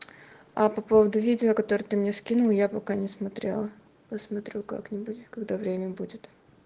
а по поводу видео которое ты мне скинул я пока не смотрела посмотрю как-нибудь когда время будет